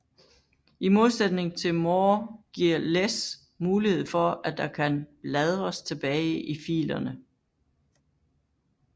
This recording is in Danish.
I modsætning til more giver less mulighed for at der kan bladres tilbage i filerne